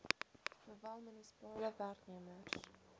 sowel munisipale werknemers